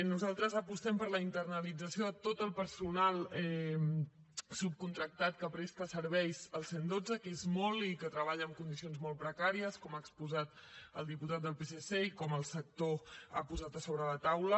nosaltres apostem per la internalització de tot el personal subcontractat que presta serveis al cent i dotze que és molt i que treballa en condicions molt precàries com ha exposat el diputat del psc i com el sector ha posat sobre la taula